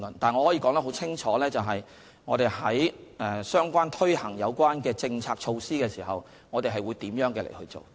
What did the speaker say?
但是，我可以說得很清楚，在推行有關政策措施的時候，我們會怎樣做。